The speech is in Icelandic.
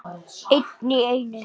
Einn í einu.